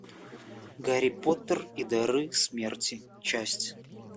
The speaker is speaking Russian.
гарри поттер и дары смерти часть